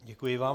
Děkuji vám.